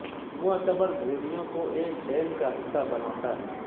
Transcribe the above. معتبر بھیڑیوں کو ایک ڈین کا حصہ بناتا ہے